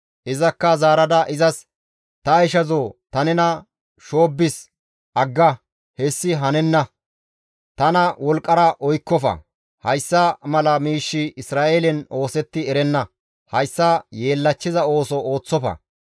Izakka zaarada izas, «Ta ishazoo ta nena shoobbis, agga; hessi hanenna; tana wolqqara oykkofa; hayssa mala miishshi Isra7eelen oosetti erenna; hayssa yeellachchiza ooso ooththofa.